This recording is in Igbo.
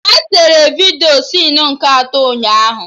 Ha sere vidiyo sinu nke atọ ụnyaahụ